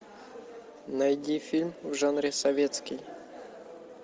найди фильм в жанре советский